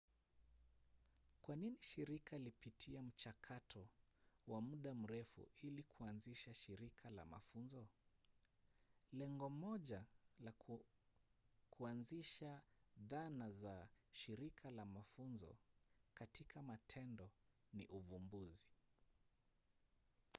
kwa nini shirika lipitie mchakato wa muda mrefu ili kuanzisha shirika la mafunzo? lengo moja la kuanzisha dhana za shirika la mafunzo katika matendo ni uvumbuzi